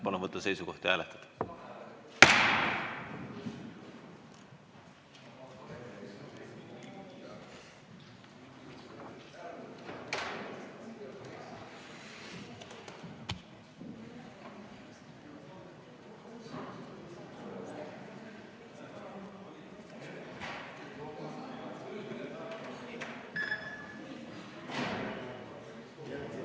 Palun võtta seisukoht ja hääletada!